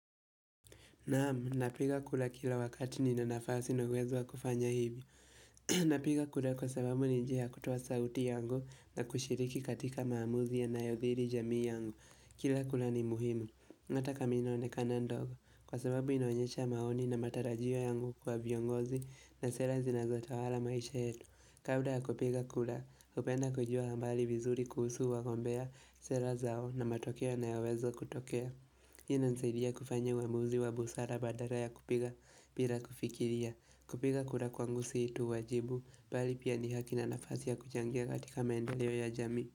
Naam, napenda kula kila wakati nina nafasi na uwezo wa kufanya hivi. Napiga kura kwa sababu ni njia ya kutoa sauti yangu na kushiriki katika maamuzi yanayoadhiri jamii yangu. Kila kula ni muhimu. Nataka mimi nionekana ndogo kwa sababu inaonyesha maoni na matarajio yangu kwa viongozi na sera zinazotawala maisha yetu. Kawaida ya kupiga kura, hupenda kujua habari vizuri kuhusu wagombea sera zao na matokea yanayowezo kutokea. Hii inasaidia kufanya uamuzi wa busara badala ya kupiga bila kufikiria. Kupiga kura kwangu si tu uwajibu bali pia ni haki na nafasi ya kuchangia katika maendeleo ya jamii.